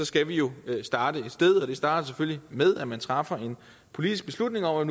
skal vi jo starte et sted og det starter selvfølgelig med at man træffer en politisk beslutning om at